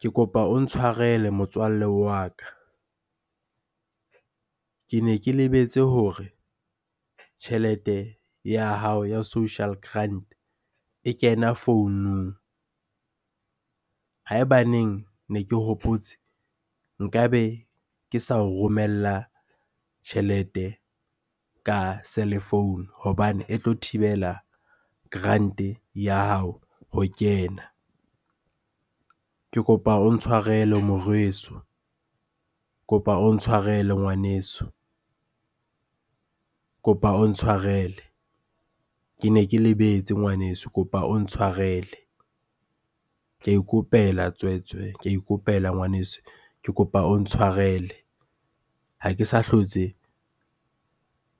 Ke kopa o ntshwarele motswalle wa ka. Ke ne ke lebetse hore tjhelete ya hao ya social grant e kena founung. Ha ebaneng ne ke hopotse, nkabe ke sa o romella tjhelete ka cellphone hobane e tlo thibela grant-e ya hao ho kena. Ke kopa o ntshwarele moreso, kopa o ntshwarele ngwaneso, kopa o Ntshwarele. Ke ne ke lebetse ngwaneso, kopa o ntshwarele. Ka ikopela tswetswe, ka ikopela ngwaneso. Ke kopa o ntshwarele. Ha ke sa hlotse